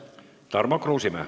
Tarmo Kruusimäe.